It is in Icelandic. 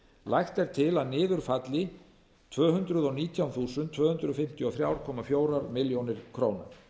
lagt er til að niður falli tvö hundruð og nítján þúsund tvö hundruð fimmtíu og þrjú komma fjórum milljónum króna